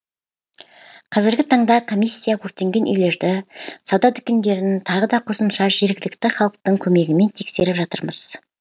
қазіргі таңда комиссия өртенген үйлерді сауда дүкендерін тағы да қосымша жергілікті халықтың көмегімен тексеріп жатырмыз